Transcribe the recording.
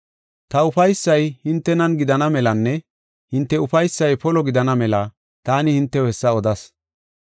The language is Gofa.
“Ta ufaysay hintenan gidana melanne hinte ufaysay polo gidana mela taani hintew hessa odas.